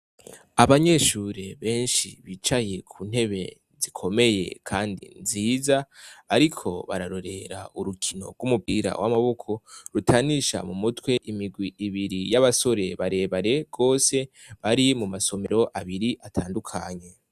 Abanyeshure benshi bicaye ku ntebe zikomeye kandi nziza, bariko bararorer' urukino g'umupira w'amaboko rutanisha mu mitw' imigw' ibiri y' abasore barebare gose, bari mu masomer' abiri atandukanye.